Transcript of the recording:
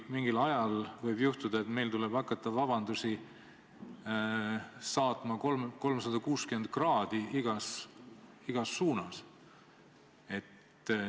Mingil ajal võib juhtuda, et meil tuleb hakata vabandusi esitama 360 kraadi, igas suunas.